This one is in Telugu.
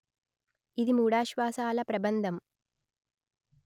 ఇది మూడాశ్వాసాల ప్రబంధం